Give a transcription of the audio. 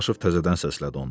Dadaşov təzədən səslədi onu.